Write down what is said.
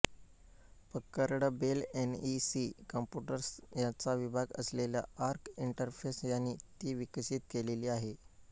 Packard Bell NEC computers याचा विभाग असलेल्या आर्क इंटरफेस यांनी ती विकसित केलेली आहे